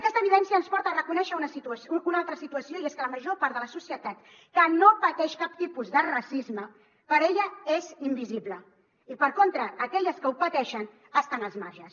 aquesta evidència ens porta a reconèixer una altra situació i és que per a la major part de la societat que no pateix cap tipus de racisme per a ella és invisible i per contra aquelles que ho pateixen estan als marges